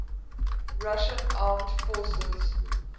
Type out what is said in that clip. russian armed forces